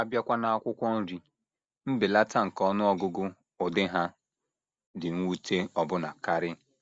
A bịakwa n’akwụkwọ nri, mbelata nke ọnụ ọgụgụ ụdị ha dị mwute ọbụna karị.